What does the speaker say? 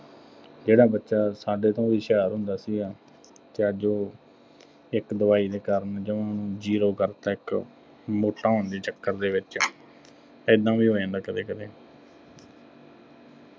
ਜਿਹੜਾ ਬੱਚਾ ਸਾਡੇ ਤੋਂ ਵੀ ਹੁਸ਼ਿਆਰ ਹੁੰਦਾ ਸੀਗਾ ਅਤੇ ਅੱਜ ਉਹ ਇੱਕ ਦਵਾਈ ਦੇ ਕਾਰਨ ਜਮ੍ਹਾ zero ਕਰਤਾ ਇੱਕ ਮੋਟਾ ਹੋਣ ਦੇ ਚੱਕਰ ਦੇ ਵਿੱਚ, ਏਦਾਂ ਵੀ ਹੋ ਜਾਂਦਾ ਕਦੇ ਕਦੇ।